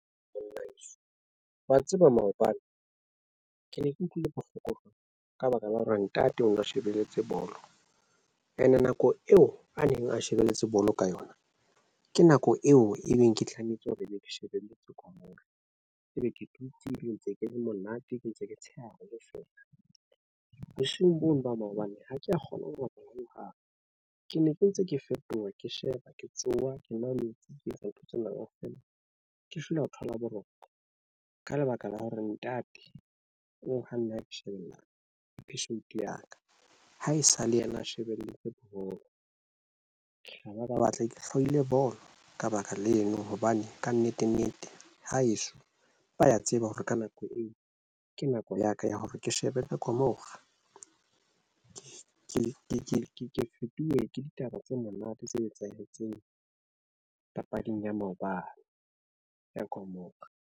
Banabeso wa tseba maobane ke ne ke utlwile bohloko jwalo ka baka la hore ntate o ne a shebelletse bolo ene nako eo a neng a shebelletse bolo ka yona. Ke nako eo e beng ke tlametse hore ebe ke shebelletse ko ng. Ke be ke dutse le ntse ke le monate, ke ntse ke tsheha le feela bosiung bo nobhoma hobane ha kea kgona ho robala hohang ke ne ke ntse ke fetoha, ke sheba ke tsoha ke nwa metsi. Kentse ntho tsena kaofela Ke feela ho thola boroko ka lebaka la hore ntate o ho nna ke shebella password ya ka, ha e sa le yena a shebelletse boholo ke haeba ba batla ke hlwahile bolo ka baka leno, hobane ka nnete, nnete haeso ba ya tseba hore ka nako eo ke nako ya ka ya hore ke shebe na. Kamora ke ke ke ke fetuwe ke ditaba tse monate tse etsahetseng papading ya mobala ya kamora.